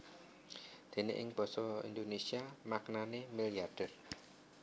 Déné ing basa Indonésia maknané milyarder